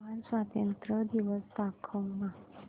Japan स्वातंत्र्य दिवस दाखव ना